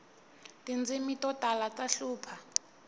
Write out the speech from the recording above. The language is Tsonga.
tindzimi to tala ta hlupha